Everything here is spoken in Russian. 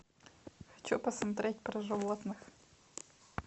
хочу посмотреть про животных